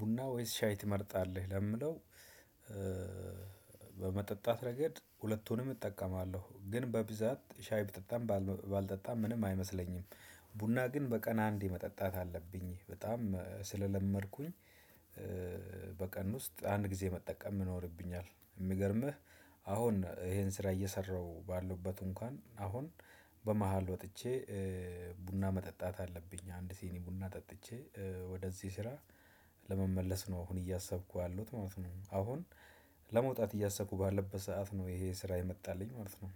ቡና ወይስ ሻይ ትመርጣለህ? ለምለው በመጠጣት ረገድ ሁለቱንም እጠቀማለሁ ግን በብዛት ሻይ ብጠጣም ባልበ ባልጠጣም ምንም አይመስለኝም። ቡና ግን በቀን አንዴ መጠጣት አለብኝ በጣም ስለለመድኩኝ። በቀን ውስጥ አንድ ጊዜ መጠቀም ይኖርብኛል። የሚገርምህ አሁን ይሄን ስራ እየሰራሁ ባለሁበት እንኳን አሁን በመሃል ወጥቼ ቡና መጠጣት አለብኝ አንድ ሲኒ ቡና ጠጥቼ ወደዚህ ስራ ለመመለስ ነው። አሁን እያሰብኩ ያለውት ማለት ነው። አሁን ለመውጣት እያሰብኩ ባለበት ሰዓት ነው ይሄ ስራ የመጣልኝ ማለት ነው።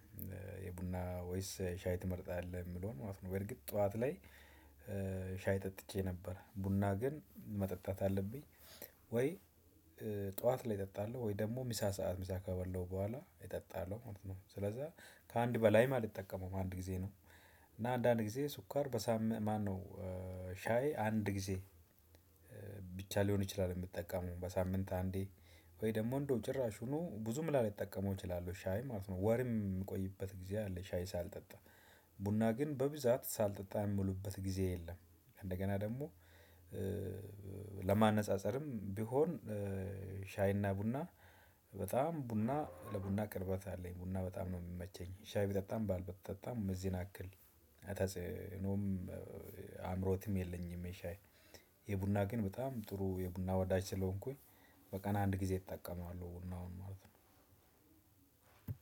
የቡና ወይስ ሻይ ትመርጣለህ? የሚለውን ማለት ነው በእርግጥ ጠዋት ላይ ሻይ ጠጥቼ ነበር ቡና ግን መጠጣት አለብኝ። ወይ? ጠዋት ላይ እጠጣለሁ ወይ ደግሞ ምሳ ሰዓት ምሳ ከበላው በኋላ እጠጣለሁ ማለት ነው። ስለዛ ከአንድ በላይም አልጠቀመውም አንድ ጊዜ ነው። እና አንዳንድ ጊዜ ሱካር በሳም ማነው? ሻይ ሻይ አንድ ጊዜ ብቻ ሊሆን ይችላል የምጠቀመው በሳምንት አንዴ። ወይ ደግሞ እንደው ጭራሹኑ ብዙም ላልጠቀመው እችላለሁ። ሻይ ማለት ነው። ወርም የምቆይበት ጊዜ አለ ሻይ ሳልጠጣ ቡና ግን በብዛት ሳልጠጣ የምውልበት ጊዜ የለም። እንደገና ደግሞ ለማነጻጸርም ቢሆን ሻይና ቡና በጣም ቡና ለቡና ቅርበት አለኝ ቡና በጣም ነው የሚመቸኝ። ሻይ ብጠጣም ባል ብጠጣም እዚህን አክል አይ ተጽእኖም አእምሮትም የለኝም። የሻይ የቡና ግን በጣም ጥሩ የቡና ወዳጅ ስለሆንኩኝ በቀን አንድ ጊዜ እጠቀማለው። ቡናውን ማለት ነው።